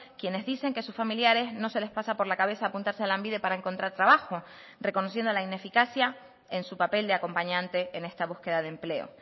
quienes dicen que sus familiares no se les pasa por la cabeza apuntarse a lanbide para encontrar trabajo reconociendo la ineficacia en su papel de acompañante en esta búsqueda de empleo